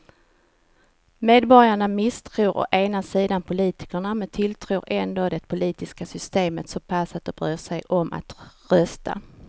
Medborgarna misstror å ena sidan politiken men tilltror ändå det politiska systemet så pass att de bryr sig om att rösta.